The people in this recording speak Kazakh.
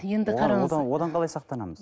енді одан қалай сақтанамыз